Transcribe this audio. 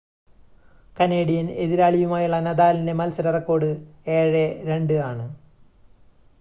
Canadian എതിരാളിയുമായുള്ള നദാലിൻ്റെ മത്സര റെക്കോർഡ് 7 2 ആണ്